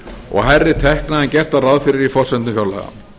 og hærri tekna en gert var ráð fyrir í forsendum fjárlaga